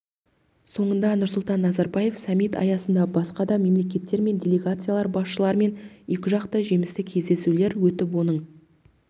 соңында нұрсұлтан назарбаев саммит аясында басқа да мемлекеттер мен делегациялар басшыларымен екіжақты жемісті кездесулер өтіп оның